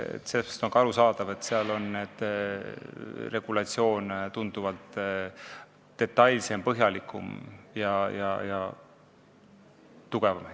Sellepärast on ka arusaadav, et seal on regulatsioon tunduvalt detailsem, põhjalikum ja tugevam.